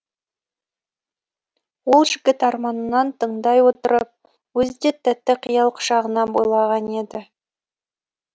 ол жігіт арманын тыңдай отырып өзі де тәтті қиял құшағына бойлаған еді